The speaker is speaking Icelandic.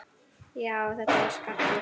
Já, þetta var Skarpi!